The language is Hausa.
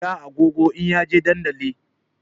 Zai saya agogo in ya je dandali